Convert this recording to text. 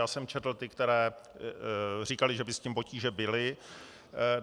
Já jsem četl ty, které říkaly, že by s tím potíže byly.